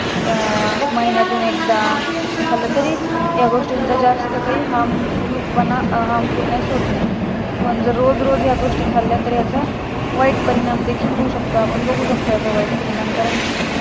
का महिण्यातून एकदा खाल्लं तरी या गोष्टीचा जास्त काही harmful harmfuless होत नाही पण जर रोज रोज या गोष्टी जर खाल्ल्या तर याचा वाईट परिणाम देखील होऊ शकतो आपण बघू शकतो आपण याचा वाईट परिणाम कारण कि